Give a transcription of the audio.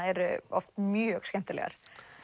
eru oft mjög skemmtilegar